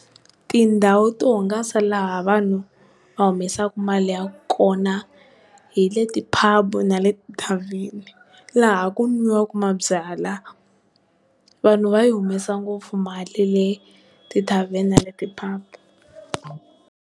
Tindhawu to hungasa laha vanhu va humesaka mali ya kona hi le ti-bub na le ti-tarven-e laha ku n'wiwaka mabyala vanhu va yi humesa ngopfu mali le ti-tarven-e na le ti-pub.